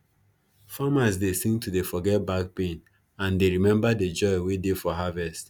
farmers dem dey sing to dey forget back pain and dey remember de joy wey dey for harvest